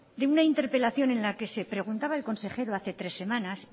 de una interpelación en la que se preguntaba el consejero hace tres semanas